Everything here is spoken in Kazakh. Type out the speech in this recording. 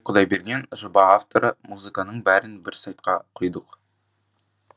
сұлтанбек құдайберген жоба авторы музыканың бәрін бір сайтқа құйдық